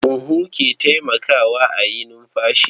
Huhu ke taimakawa a yi numfashi.